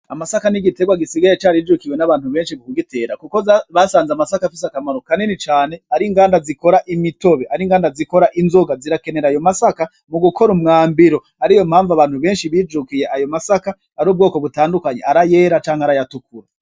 Amasaka n'igiterwa gisigaye carijukiwe n'abantu benshi kugitera, kuko basanze amasaka afise akamaro kanini cane ari inganda zikora imitobe ari inganda zikora inzoga zirakenera ayo masaka mu gukora umwambiro ariyo mpamvu abantu benshi bijukiye ayo masaka ari ubwoko butandukanye ari ayera canke ari ayatukura.